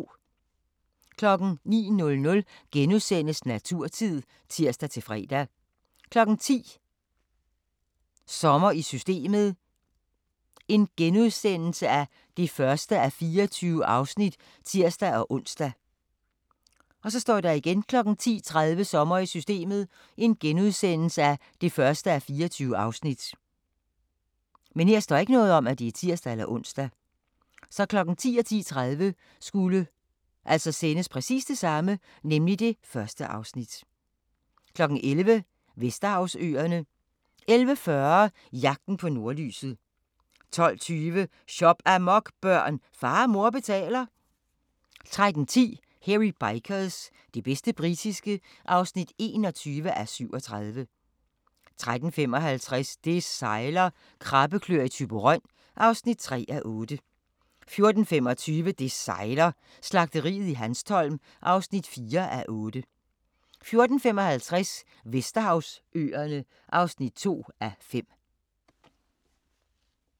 09:00: Naturtid *(tir-fre) 10:00: Sommer i Systemet (1:24)*(tir-ons) 10:30: Sommer i Systemet (1:24)* 11:00: Vesterhavsøerne 11:40: Jagten på nordlyset 12:20: Shop-amok, børn! Far og mor betaler 13:10: Hairy Bikers – det bedste britiske (21:37) 13:55: Det sejler - krabbeklør i Thyborøn (3:8) 14:25: Det sejler - Slagteriet i Hanstholm (4:8) 14:55: Vesterhavsøerne (2:5)